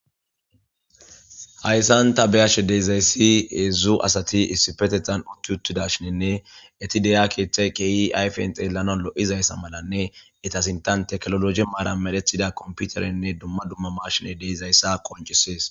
Haysan ta beyashe dizaysi hezhzhu asati issipetan utti uttidashinne eti de'iya ketha kehi ayfen xelana lozaysa malanne ete sinthen kompiter mala medhidaysanne duma duma machine de'izaysa qoncises